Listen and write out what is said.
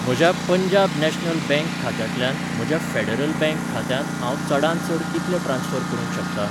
म्हज्या Punjab National Bank खात्यांतल्यान म्हज्या फेडरल बँक खात्यांत हांव चडांत चड कितले ट्रान्स्फर करूंक शकतां?